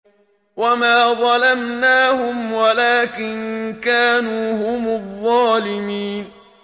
وَمَا ظَلَمْنَاهُمْ وَلَٰكِن كَانُوا هُمُ الظَّالِمِينَ